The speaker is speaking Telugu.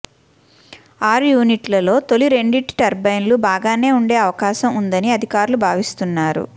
ఆరు యూనిట్లలో తొలి రెండింటి టర్బయిన్లు బాగానే ఉండే అవకాశం ఉందని అధికారులు భావిస్తున్నారు